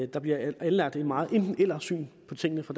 der bliver anlagt et meget enten eller syn på tingene fra